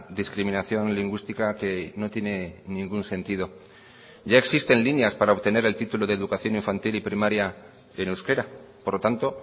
discriminación lingüística que no tiene ningún sentido ya existen líneas para obtener el título de educación infantil y primaria en euskera por lo tanto